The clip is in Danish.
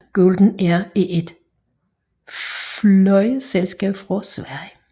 Golden Air er et flyselskab fra Sverige